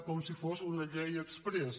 com si fos una llei exprés